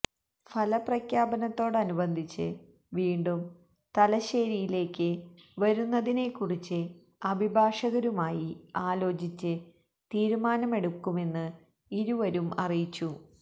ഫലപ്രഖ്യാപനത്തോടനുബന്ധിച്ച് വീണ്ടും തലശ്ശേരിയിലേക്ക് വരുന്നതിനെക്കുറിച്ച് അഭിഭാഷകരുമായി ആലോചിച്ച് തീരുമാനമെടുക്കുമെന്ന് ഇരുവരും അറിയിച്ചു